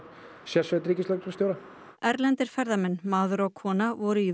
sérsveit ríkislögreglustjóra erlendir ferðamenn maður og kona voru í